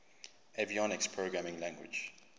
avionics programming language